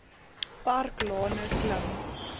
park lane klim